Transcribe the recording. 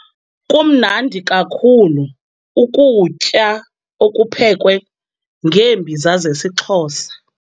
Kumnandi kakhulu ukutya okuphekwe ngeembiza zesiXhosa.